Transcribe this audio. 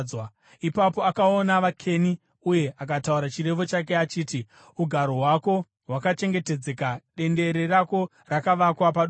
Ipapo akaona vaKeni uye akataura chirevo chake achiti: “Ugaro hwako hwakachengetedzeka, dendere rako rakavakwa padombo;